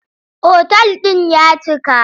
Otal ɗin ya cika.